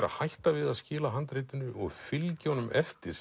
að hætta við að skila handritinu og fylgja honum eftir